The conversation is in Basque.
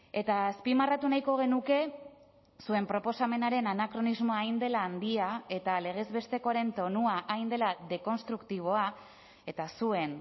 eta azpimarratu nahiko genuke zuen proposamenaren anakronismoa hain dela handia eta legez bestekoaren tonua hain dela dekonstruktiboa eta zuen